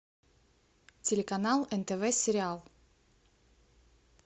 телеканал нтв сериал